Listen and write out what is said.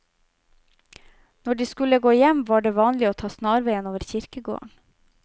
Når de skulle gå hjem, var det vanlig å ta snarveien over kirkegården.